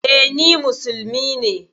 E, ni musulmi ne.